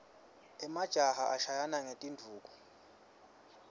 emajaha ashayana ngetinduku